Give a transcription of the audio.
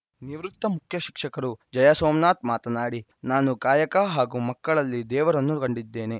ನಿವೃತ್ತ ಮುಖ್ಯ ಶಿಕ್ಷಕರು ಜಯ ಸೋಮನಾಥ್‌ ಮಾತನಾಡಿ ನಾನು ಕಾಯಕ ಹಾಗೂ ಮಕ್ಕಳಲ್ಲಿ ದೇವರನ್ನು ಕಂಡಿದ್ದೇನೆ